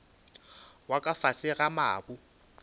wa ka fase ga mabu